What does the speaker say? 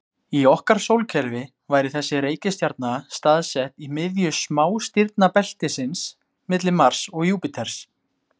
Í okkar sólkerfi væri þessi reikistjarna staðsett í miðju smástirnabeltisins, milli Mars og Júpíters.